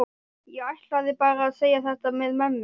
Ég ætlaði bara að segja þetta með mömmu.